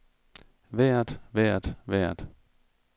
vejret vejret vejret